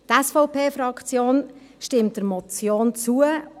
Die SVP-Fraktion stimmt der Motion zu;